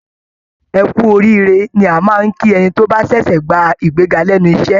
"Ẹ kú oríire" ni a máa ń kí ẹni tó bá ṣẹ̀ṣẹ̀ gba ìgbéga lẹ́nu iṣẹ́